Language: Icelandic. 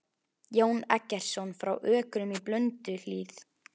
Jón Eggertsson frá Ökrum í Blönduhlíð.